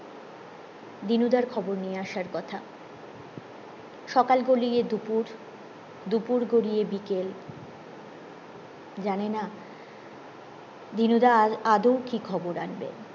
দিনু দার খবর নিয়ে আসার কথা সকাল গলিয়ে দুপুর দুপুর গলিয়ে বিকেল জানিনা দিনু দা আর আদও কি খবর আনবে